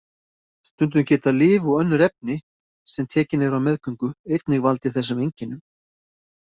Stundum geta lyf og önnur efni sem tekin eru á meðgöngu einnig valdið þessum einkennum.